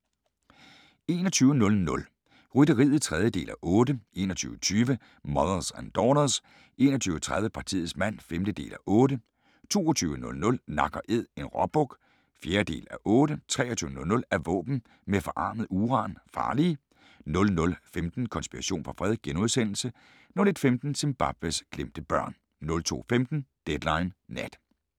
21:00: Rytteriet (3:8) 21:20: Mothers and Daughters 21:30: Partiets mand (5:8) 22:00: Nak & æd – en råbuk (4:8) 23:00: Er våben med forarmet uran farlige? 00:15: Konspiration for fred * 01:15: Zimbabwes glemte børn 02:15: Deadline Nat